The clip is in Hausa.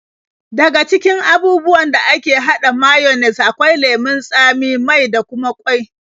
Daga cikin abubuwan da ake haɗa mayones akwai lemon tsami, mai da kuma ƙwai.